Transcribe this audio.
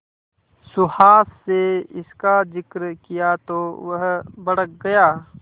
सुहास से इसका जिक्र किया तो वह भड़क गया